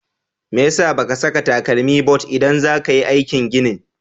Me ya sa ba ka saka takalmi but idan za ka yi aikin gini?